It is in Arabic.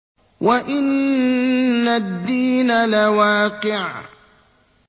وَإِنَّ الدِّينَ لَوَاقِعٌ